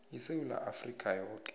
isewula afrika yoke